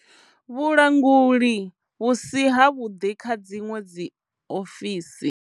Vhulanguli vhu si havhuḓi kha dziṅwe dzi dziofisi.